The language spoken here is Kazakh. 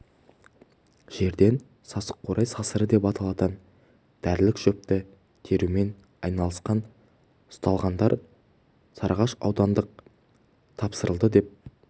жерден сасық қурай сасыры деп аталатын дәрілік шөпті терумен айналысқан ұсталғандар сарыағаш аудандық тапсырылды деп